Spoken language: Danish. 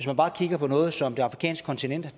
man bare kigger på noget som det afrikanske kontinent